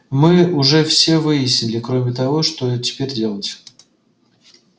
мы уже все выяснили кроме того что теперь делать